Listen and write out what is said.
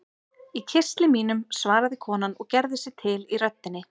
Í kistli mínum, svaraði konan og gerði sig til í röddinni.